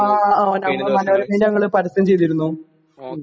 ആ ആ ഞമ്മള് മനോരമയില് ഞങ്ങള് പരസ്യം ചെയ്തിരുന്നു